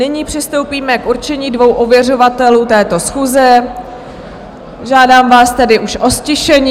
Nyní přistoupíme k určení dvou ověřovatelů této schůze, žádám vás tedy už o ztišení.